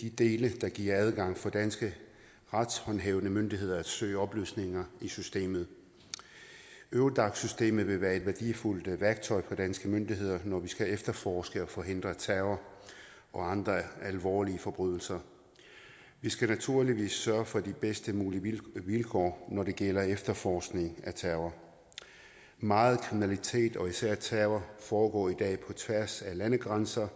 de dele der giver adgang for danske retshåndhævende myndigheder til at søge oplysninger i systemet eurodac systemet vil være et værdifuldt værktøj for danske myndigheder når vi skal efterforske og forhindre terror og andre alvorlige forbrydelser vi skal naturligvis sørge for de bedst mulige vilkår når det gælder efterforskning af terror meget kriminalitet og især terror foregår i dag på tværs af landegrænser